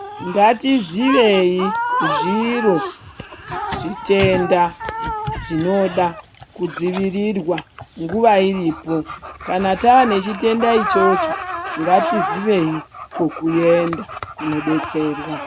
Ngatizivei zviro zvitenda zvinoga kudzivirirwa nguva iripo. Kana tane chitenda ichocho ngatizivei kwekuenda kunobetserwa.